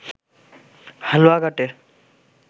হালুয়াঘাটে